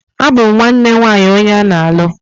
Abum nwanne nwaanyi onye ana-alu.